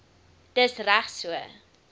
dis reg so